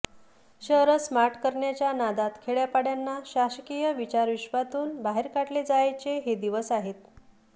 शहरं स्मार्ट करण्याच्या नादात खेड्यापाड्यांना शासकीय विचारविश्वातून बाहेर काढले जायाचे हे दिवस आहेत